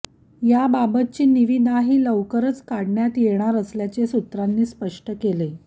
याबाबतची निविदाही लवकरच काढण्यात येणार असल्याचे सूत्रांनी स्पष्ट केले